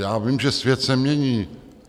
Já vím, že svět se mění.